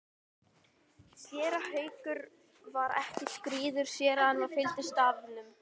Séra Haukur var ekki skírður séra en það fylgir starfinu.